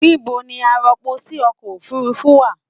Nibo ni arọpòsí ọkọ òfurùnfu wa?